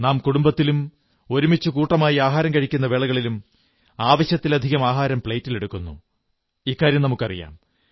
നാം കുടുംബത്തിലും ഒരുമിച്ച് കൂട്ടമായി ആഹാരം കഴിക്കുന്ന വേളകളിലും ആവശ്യത്തിലധികം ആഹാരം പ്ലേറ്റിലെടുക്കുന്നു എന്നു നമുക്കറിയാം